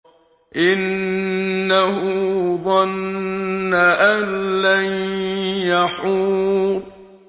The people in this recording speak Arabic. إِنَّهُ ظَنَّ أَن لَّن يَحُورَ